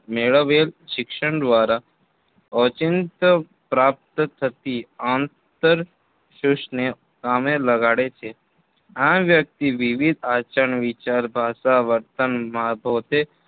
મેળવેલ શિક્ષણ દ્વારા ઓચિંત પ્રાપ્ત થતી આંતરસૂઝને કામે લગાડે છે. આમ વ્યક્તિ વિવિધ આચાર વિચાર ભાષા વર્તનભાતો